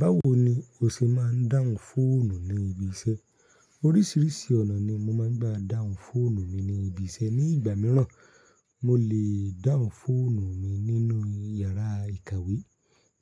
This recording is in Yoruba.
Báwo ni o ṣe má ń dáhùn fóònù ní ibi iṣẹ́? Oríṣìíríṣìí ọ̀nà ni mo máa ń gbà dáhùn fóònù mi ní ibi iṣẹ́. Ní ìgbà míràn, mo lè dáhùn fóònù mi nínú yàrá ìkàwé.